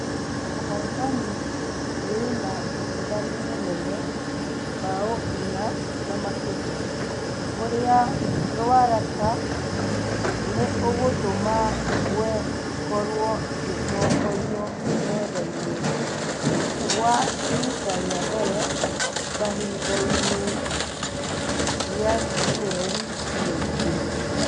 Ũhotani wĩna ũtiganu mũnene ( bao inya na makeria) kũria ruaraka nĩ ũgatũma ingwe ikorwo agĩtongoria methainĩ gwa rita rĩa mbere kahinda-inĩ gĩa mĩeri meingĩ